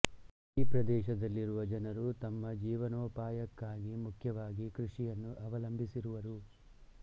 ಈ ಪ್ರದೇಶದಲ್ಲಿರುವ ಜನರು ತಮ್ಮ ಜೀವನೋಪಾಯಕ್ಕಾಗಿ ಮುಖ್ಯವಾಗಿ ಕೃಷಿಯನ್ನು ಅವಲಂಬಿಸಿರುವರು